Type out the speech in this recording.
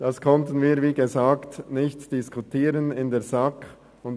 Das konnten wir wie erwähnt nicht in der SAK diskutieren.